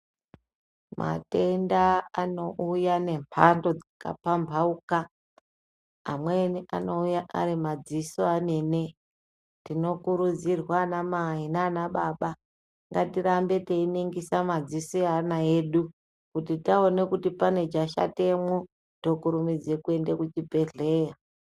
Matenda anouya nemwando dzakapambauka amweni anouya ari madziso amene. Tinokurudzirwa anamai nana baba ngatirambe teiningisa madziso eana edu. Kuti taone kuti pane chashatemwo tokurumidze kwende kuchibhedhleya.